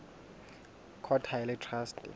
court ha e le traste